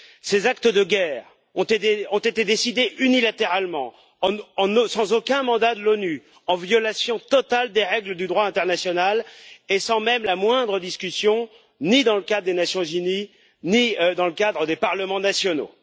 Ces actes de guerre ont été décidés unilatéralement, sans aucun mandat de l'ONU, en violation totale des règles du droit international et sans même la moindre discussion ni dans le cadre des Nations unies, ni dans le cadre des parlements nationaux.